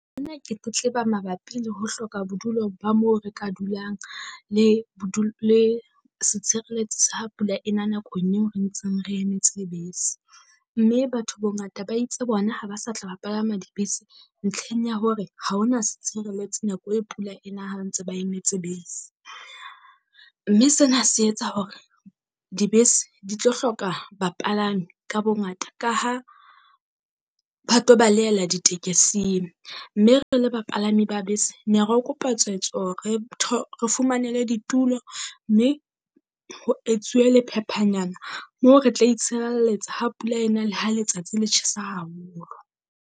Ena ke tletleba mabapi le ho hloka bodulo ba moo re ka dulang le le setshireletsi sa ha pula e na nakong eo re ntseng re emetse bese. Mme batho bongata ba itse bona ha ba sa tla ba palama dibese ntlheng ya hore ha ho na setshireletsi nako e pula e na ha ntse ba emetse bese. Mme sena se etsa hore dibese di tlo hloka bapalami ka bongata ka ha ba tlo balehela ditekesing. Mme re re le bapalami ba bese ne re kopa tswetswe hore re fumanelwe ditulo mme ho etsuwe lephephayana moo re tla itshirelletsa ha pula e na le ha letsatsi le tjhesa haholo.